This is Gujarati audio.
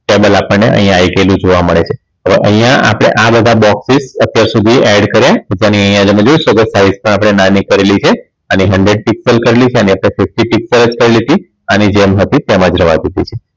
Cable આપણને અહીં આવી ગયેલું જોવા મળે છે તો અહીંયા આપણે આ બધા box ને અત્યાર સુધી add કર્યા અને અહીંયા તમે જોઈ શકો છો file ને આપણે નાની કરેલી છે hundred piscal કરેલી છે અને sixty piscal જ કરેલી હતી અને જેમ હતી તેમ જ રહેવા દીધી છે